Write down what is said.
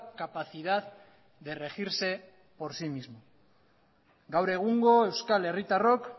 capacidad de regirse por sí mismo gaur egungo euskal herritarrok